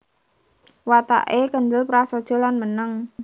Watake kendhel prasaja lan meneng